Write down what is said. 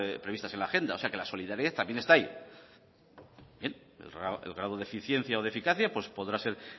previstas en la agenda o sea que la solidaridad también está ahí bien el grado de eficiencia o de eficacia podrá ser